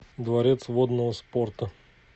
дворец водного спорта